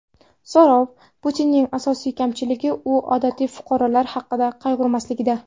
So‘rov: Putinning asosiy kamchiligi u oddiy fuqarolar haqida qayg‘urmasligida.